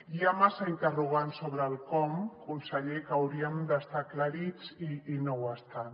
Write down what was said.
hi ha massa interrogants sobre el com conseller que haurien d’estar aclarits i no ho estan